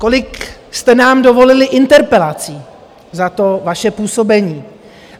Kolik jste nám dovolili interpelací za to vaše působení?